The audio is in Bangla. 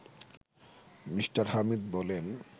মিঃ হামিদ বলেন